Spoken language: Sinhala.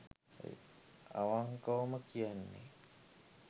අවන්කවම කියන්නේ